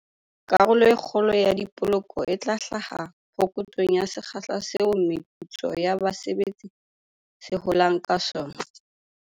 Karolo e kgolo ya dipoloko e tla hlaha phokotsong ya sekgahla seo meputso ya base betsi se holang ka sona.